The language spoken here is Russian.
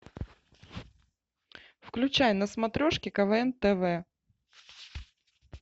включай на смотрешке квн тв